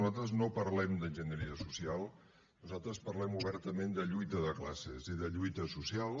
nosaltres no parlem d’ enginyeria social nosaltres parlem obertament de lluita de classes i de lluita social